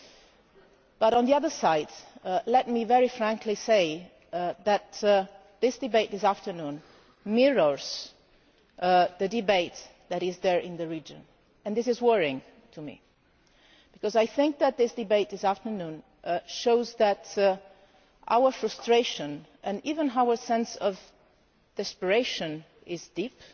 However, on the other side, let me very frankly say that this debate this afternoon mirrors the debate that is there in the region, and this is worrying to me because I think that this debate this afternoon shows that our frustration, and even our sense of desperation, is deep,